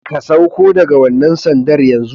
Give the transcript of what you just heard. Ka sauko daga wannan sandar yanzu!